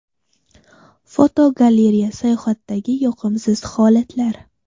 Fotogalereya: Sayohatdagi yoqimsiz holatlar.